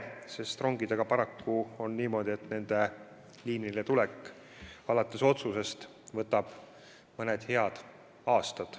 Rongidega paraku on niimoodi, et nende liinile tulek alates otsusest võtab mõned head aastad.